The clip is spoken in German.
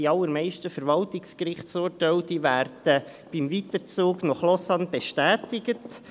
Die allermeisten Verwaltungsgerichtsurteile werden beim Weiterzug nach Lausanne bestätigt.